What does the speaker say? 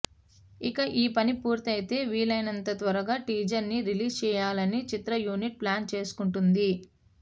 ఇక ఈ పని పూర్తయితే వీలైనంత త్వరగా టీజర్ ని రిలీజ్ చేయాలనీ చిత్ర యూనిట్ ప్లాన్ చేసుకుంటోంది